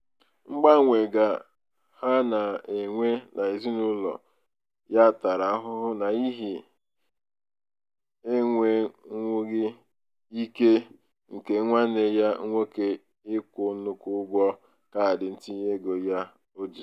mgbanwe ga ha na-enwe n'ezinaụlọ ya tara ahụhụ n'ihi enwenwughi ike nke nwanne ya nwoke ịkwụ nnukwu ụgwọ kaadị ntinyeego ya o ji.